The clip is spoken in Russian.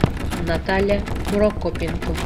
наталья прокопенко